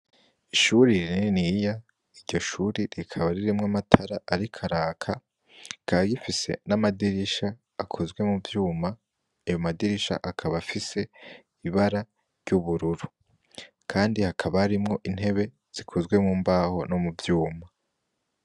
Ishuri rininiya iryo shuri rikaba ririmwo amatara ariko araka rikaba rifise n' amadirisha akozwe muvyuma ayo madirisha akaba afise ibara ry'ubururu kandi hakaba harimwo intebe zikozwe mu mbaho no muvyuma.